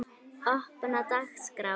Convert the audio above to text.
opin dagskrá